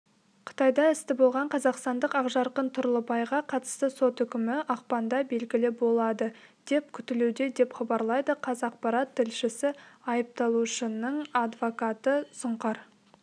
қытайда істі болған қазақстандық ақжарқын тұрлыбайға қатысты сот үкімі ақпанда белгілі болады деп күтілуде деп хабарлайды қазақпарат тілшісі айыпталушының адвокаты сұңқар